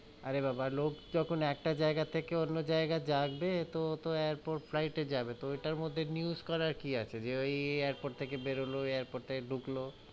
অরে বাবা, লোক যখন একটা জায়গা থেকে অন্য জায়গা যাবে, তো ও তো airport flight এ যাবে, তো ওই তার মধ্যে news করার কি আছে, যে ওই airport থেকে বেরালো, ওই airport থেকে ডুকলো,